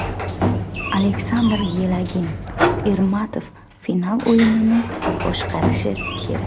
Aleksandr Yelagin: Ermatov final o‘yinini boshqarishi kerak.